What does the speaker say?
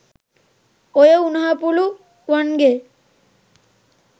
ඔය උනහපුලු වන්ගේ